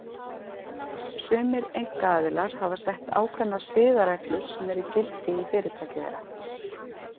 Sumir einkaaðilar hafa sett ákveðnar siðareglur sem eru í gildi í fyrirtæki þeirra.